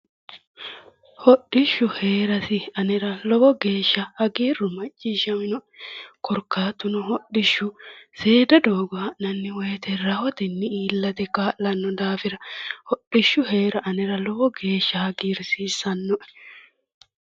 hodhishhsu hee'rasi anera lowo geeshsha hagiiru macciishama'noe korkaatuno, seeda doogo ha'nanni woyte rahotenni illate kaa'lanno daafira hodhishshu hee'ra anera lowo geeshsha hagiirsiissannoe